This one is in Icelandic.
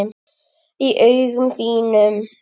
Í augum þínum.